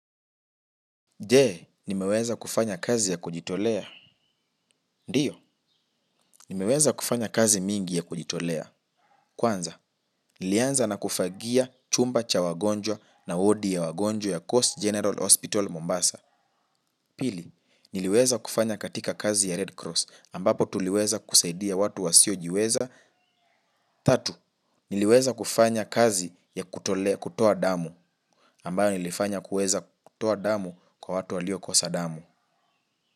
Je, nimeweza kufanya kazi ya kujitolea? Ndiyo, nimeweza kufanya kazi mingi ya kujitolea. Kwanza, nilianza na kufagia chumba cha wagonjwa na wodi ya wagonjwa ya Coast General Hospital Mombasa. Pili, niliweza kufanya katika kazi ya Redcross ambapo tuliweza kusaidia watu wasiojiweza. Tatu, niliweza kufanya kazi ya kutoa damu ambayo nilifanya kuweza kutoa damu kwa watu waliokosa damu.